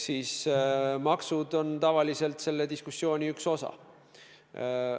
Maksud on tavaliselt selle diskussiooni üks osa.